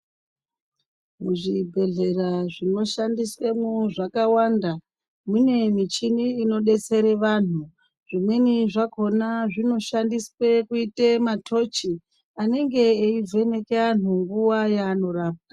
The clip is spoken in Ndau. Muzvibhedhlera zvinoshandiswemwo zvakawanda mune michini inodetsere anhu, zvimweni zvakhona zvinoshandiswe kuite matochi anenge aivheneke anhu nguwa wanorapwa.